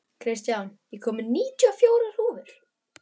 Kristján, ég kom með níutíu og fjórar húfur!